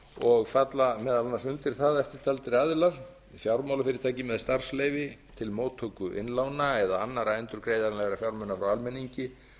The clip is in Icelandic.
og falla meðal annars undir það eftirtaldir aðilar fjármálafyrirtæki með starfsleyfi til móttöku innlána eða annarra endurgreiðanlegra fjármuna frá almenningi